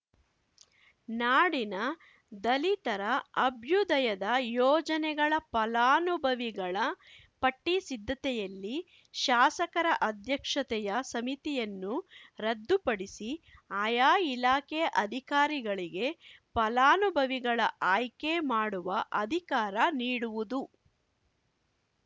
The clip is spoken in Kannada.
ನಾಡಿನ ದಲಿತರ ಅಭ್ಯುದಯದ ಯೋಜನೆಗಳ ಫಲಾನುಭವಿಗಳ ಪಟ್ಟಿ ಸಿದ್ಧತೆಯಲ್ಲಿ ಶಾಸಕರ ಅಧ್ಯಕ್ಷತೆಯ ಸಮಿತಿಯನ್ನು ರದ್ದುಪಡಿಸಿ ಆಯಾ ಇಲಾಖೆ ಅಧಿಕಾರಿಗಳಿಗೆ ಫಲಾನುಭವಿಗಳ ಆಯ್ಕೆ ಮಾಡುವ ಅಧಿಕಾರ ನೀಡುವುದು